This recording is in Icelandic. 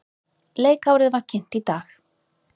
Leikárið var kynnt í dag.